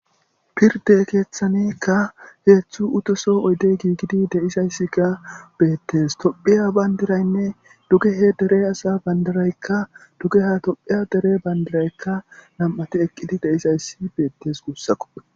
Pirdde keethaniikka heedzu utoso oydey giigidi de7izaysika beettees. Tophiya bandiraynne dugehe dere asaa banddiraykka dugeha tophiya dere banddiraykka nam7ati eqqidi de7izayssi beettees guussako.